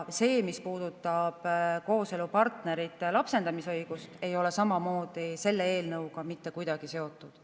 See, mis puudutab kooselupartnerite lapsendamisõigust, ei ole samamoodi selle eelnõuga mitte kuidagi seotud.